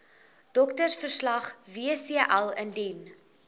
doktersverslag wcl indien